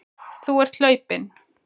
Þú ert hlaupinn.